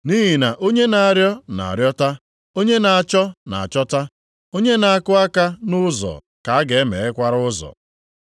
Nʼihi na onye na-arịọ na-arịọta, onye na-achọ na-achọta, onye na-akụ aka nʼụzọ ka a ga-emeghekwara ụzọ.